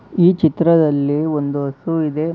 ಈ ಚಿತ್ರದಲ್ಲಿ ಒಂದು ಹಸು ಇದೆ.